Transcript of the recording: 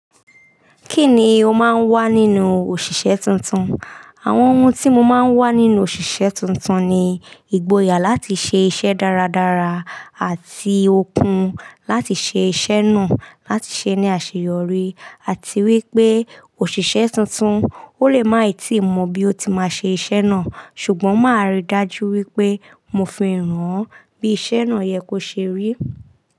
Kí ni o máa ń wá nínú òṣìṣẹ́ tuntun? Àwọn ohun tí mo máa ń wá nínú òṣìṣẹ́ tuntun ni ìgboyà láti ṣe iṣẹ́ dáradára àti okun láti ṣe iṣẹ́ náà, láti ṣe ní àṣeyọrí àti wípé òṣìṣẹ́ tuntun, ó lè má ì tíì mọ bí ó ti má ṣe iṣẹ́ náà ṣùgbọ́n máa rí dájú wípé mo fi han bí iṣẹ́ náà yẹ kó ṣe rí.